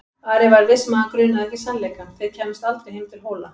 Ari var viss um að hann grunaði ekki sannleikann: þeir kæmust aldrei heim til Hóla.